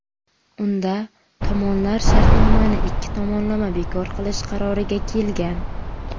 Unda tomonlar shartnomani ikki tomonlama bekor qilish qaroriga kelgan.